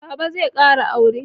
Baba zai ƙara aure.